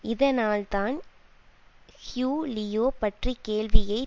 இதனால் தான் Hugh Leo பற்றி கேள்வியை